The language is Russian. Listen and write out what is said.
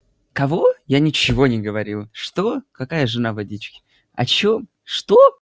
кого я ничего не говорил что какая жена водички о чём что